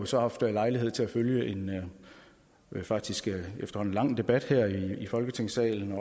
så haft lejlighed til at følge en faktisk efterhånden lang debat her i folketingssalen